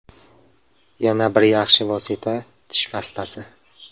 Yana bir yaxshi vosita tish pastasi.